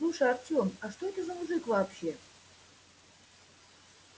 слушай артем а что это за мужик вообще